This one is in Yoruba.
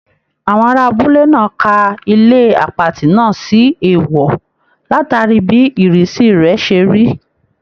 Àwọn ará abúlé náà ka ilé àpatì náà sí èèwọ̀ látàrí bí ìrísí rẹ̀ ṣe rí